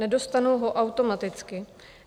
Nedostanou ho automaticky.